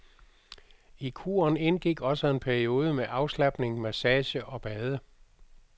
I kuren indgik også en periode med afslapning, massage og bade.